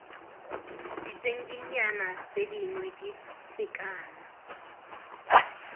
ditshedinyana tse dingwe dife kana